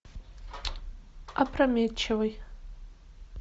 опрометчивый